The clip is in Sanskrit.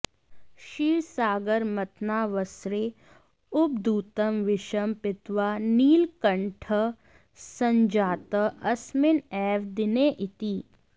क्षीरसागरमथनावसरे उद्भूतं विषं पीत्वा नीलकण्ठः सञ्जातः अस्मिन् एव दिने इति